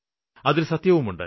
അതില് സത്യവുമുണ്ട്